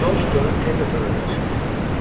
George dönüb təzə tövlədən çıxdı.